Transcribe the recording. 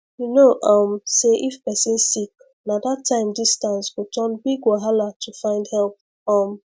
you know um say if person sick na that time distance go turn big wahala to find help um